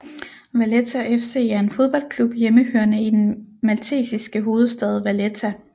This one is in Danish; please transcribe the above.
Valletta FC er en fodboldklub hjemmehørende i den maltesiske hovedstad Valletta